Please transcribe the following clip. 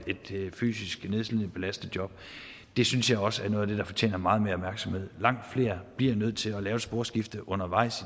fysisk nedslidende belastende job det synes jeg også noget af det der fortjener meget mere opmærksomhed langt flere bliver nødt til at lave et sporskifte undervejs